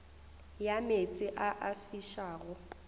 ya meetse a a fišago